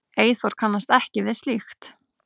Eyþór kannast ekki við slíkt.